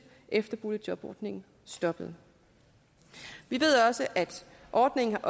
efter at boligjobordningen stoppede vi ved også at ordningen